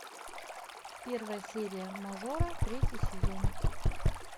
первая серия мажора третий сезон